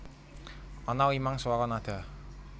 Ana limang swara nada